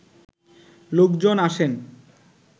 লোকজন আসেন